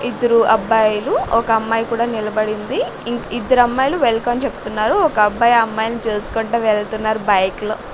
ఇద్దరు అబ్బాయిలు ఒక అమ్మాయి కూడా నిలబడింది ఇంక్ ఇద్దరమ్మాయిలు వెల్కమ్ చెప్తున్నారు ఒక అబ్బాయి ఆ అమ్మాయిలని చూసుకుంటూ వెళ్తున్నారు బైల్ లో.